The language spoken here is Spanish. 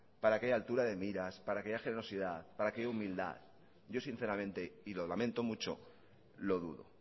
para que haya altura de miras para que haya generosidad para que haya humildad yo sinceramente y lo lamento mucho lo dudo